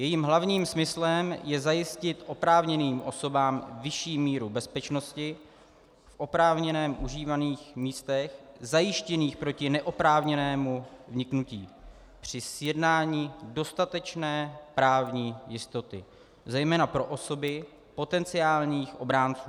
Jejím hlavním smyslem je zajistit oprávněným osobám vyšší míru bezpečnosti v oprávněně užívaných místech, zajištěných proti neoprávněnému vniknutí, při zjednání dostatečné právní jistoty zejména pro osoby potenciálních obránců.